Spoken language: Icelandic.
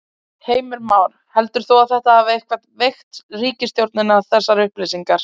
Heimir Már: Heldur þú að þetta hafi eitthvað veikt ríkisstjórnina þessar upplýsingar?